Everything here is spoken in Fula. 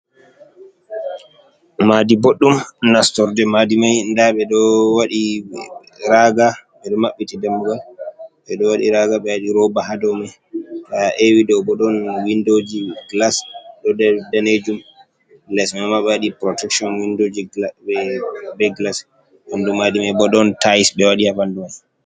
Madi boɗɗum nastorde madimai da ɓeɗo waɗi raga ɓeɗo mabbiti dammugal ɓeɗo wadi raga ɓe waɗi roba hadow mai ta ewi ɗo bo don windoji gilas danejum les mama bo ɓe wadi protection windoji be gilas ɓandu madimai bo ɗon tais ɓe waɗi haɓandu mai.